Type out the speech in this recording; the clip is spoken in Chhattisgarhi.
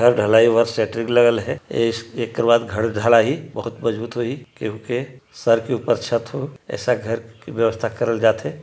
घर ढलाई बर सेटरीप लगल हैं ए एके बाद घर ढलाही ओखत मजबूत होही क्यूके सर के ऊपर छत हो ऐसा घर के व्यवस्था करल जाथे।